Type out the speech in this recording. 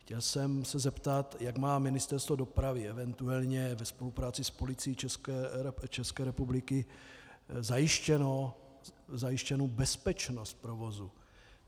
Chtěl jsem se zeptat, jak má Ministerstvo dopravy eventuálně ve spolupráci s Policií České republiky zajištěnu bezpečnost provozu.